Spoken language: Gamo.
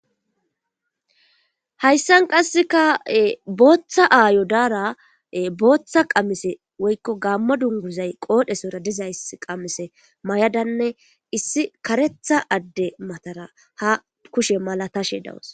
Hayssan qasseka booththa aayo daara booththa qamise woykko gaamma dunguzay qoodhesora dizays qamise may'adanne issi karetha adde matara ha kushe mala tashe dawus.